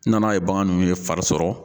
N nana ye bagan ninnu ye fari sɔrɔ.